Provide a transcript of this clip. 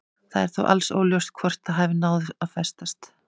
Það er þó alls óljóst hvort það hafi náð að festast.